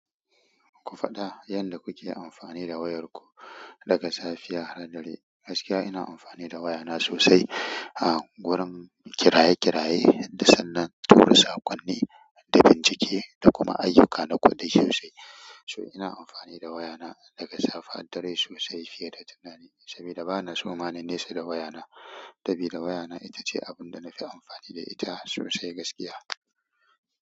Ku faɗa yanda ku ke amfani da wayar ku daga safiya har dare. Gaskiya ina amfani da wayana sosai a gurin kiraye-kiraye, da sannan tura saƙonni, da bincike da kuma ayyuka na kuɗi sosai. So ina amfani da wayana daga safe har dare sosai fiye da tunani saboda bana so ma na nesa da wayana. Sabida wayana ita ce abin da na fi amfani da ita sosai gaskiya.